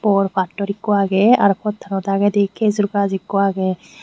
bor pattor ekko agey arow pottano dagedi kejur gach ekko agey.